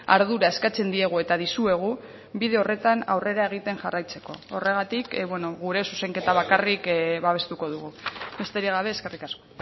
ardura eskatzen diegu eta dizuegu bide horretan aurrera egiten jarraitzeko horregatik gure zuzenketa bakarrik babestuko dugu besterik gabe eskerrik asko